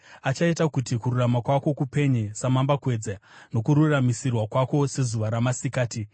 achaita kuti kururama kwako kupenye samambakwedza, nokururamisirwa kwako sezuva ramasikati.